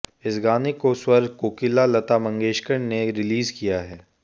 इस गाने को स्वर कोकिला लता मंगेशकर ने रिलीज किया है